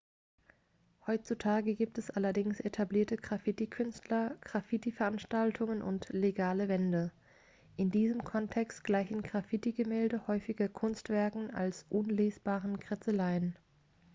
"heutzutage gibt es allerdings etablierte graffiti-künstler graffiti-veranstaltungen und legale" wände. in diesem kontext gleichen graffiti-gemälde häufiger kunstwerken als unlesbaren kritzeleien.